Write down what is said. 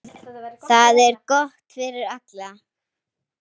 Það er gott fyrir alla.